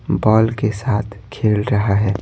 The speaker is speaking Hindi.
बॉल के साथ खेल रहा है।